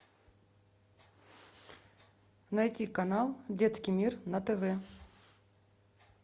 найти канал детский мир на тв